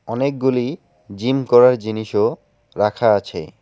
অনেকগুলি জিম করার জিনিসও রাখা আছে।